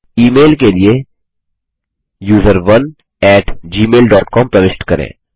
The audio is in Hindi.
ई मेल के लिए user one at Gmail dot com प्रविष्ट करें